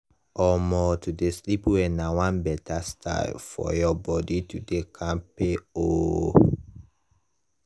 omo to dey sleep well na one better style for your body to dey kampke oh